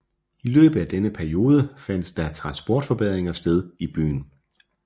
I løbet af denne periode fandt der transportforbedringer sted i byen